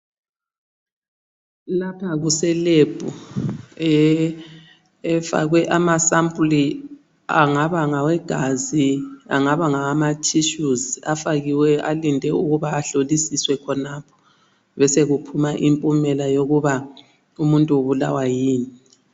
Lapha kuselebhu efakwe amasampuli angaba ngawegazi angaba ngamawathishuzi afakiweyo alinde ukuba ahlolisiswe khonapha besekuphuma impumela yokuba umuntu ubulawa yini.